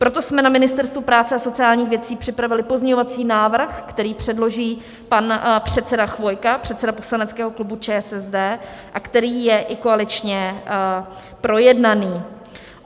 Proto jsme na Ministerstvu práce a sociálních věcí připravili pozměňovací návrh, který předloží pan předseda Chvojka, předseda poslaneckého klubu ČSSD, a který je i koaličně projednaný.